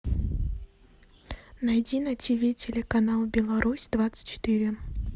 найди на тв телеканал беларусь двадцать четыре